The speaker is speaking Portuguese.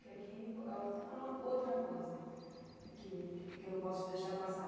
Porque aqui é uma é uma outra coisa, que que eu não posso deixar passar.